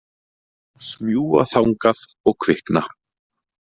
Smjúga þangað og kvikna.